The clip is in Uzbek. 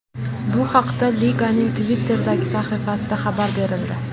Bu haqda liganing Twitter’dagi sahifasida xabar berildi.